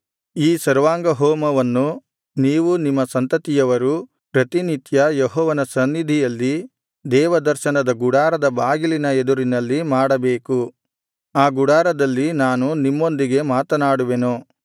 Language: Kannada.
ಈ ಸರ್ವಾಂಗಹೋಮವನ್ನು ನೀವೂ ನಿಮ್ಮ ಸಂತತಿಯವರು ಪ್ರತಿನಿತ್ಯ ಯೆಹೋವನ ಸನ್ನಿಧಿಯಲ್ಲಿ ದೇವದರ್ಶನದ ಗುಡಾರದ ಬಾಗಿಲಿನ ಎದುರಿನಲ್ಲಿ ಮಾಡಬೇಕು ಆ ಗುಡಾರದಲ್ಲಿ ನಾನು ನಿಮ್ಮೊಂದಿಗೆ ಮಾತನಾಡುವೆನು